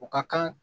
U ka kan